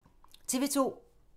TV 2